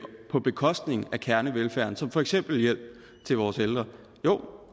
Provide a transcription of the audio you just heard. på bekostning af kernevelfærden for eksempel hjælp til vores ældre